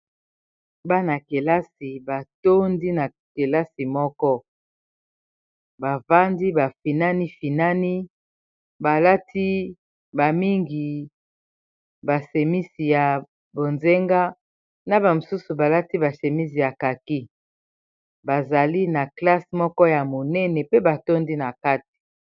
Bana-kelasi batondi na kelasi moko, bafandi bafinani finani balati bamingi basemisi ya bonzenga, na bamosusu balati basemisi ya kaki, bazali na classe moko ya monene pe batondi na kati.